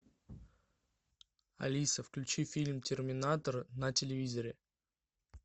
алиса включи фильм терминатор на телевизоре